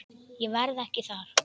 Ég verð ekki þar.